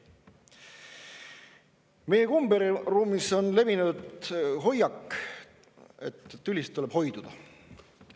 Meie komberuumis on levinud hoiak, et tülist tuleb hoiduda.